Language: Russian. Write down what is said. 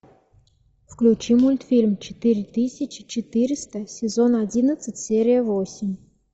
включи мультфильм четыре тысячи четыреста сезон одиннадцать серия восемь